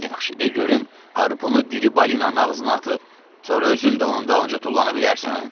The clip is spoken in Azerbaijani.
Yaxşı, de görüm harpunu diri balinanın ağzına atıb, sonra özün də onun dalınca tullana bilərsən?